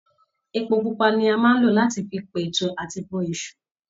Epo pupa ni a máa n lọ láti fi n p'ẹ̀tú àti bọ Èṣù.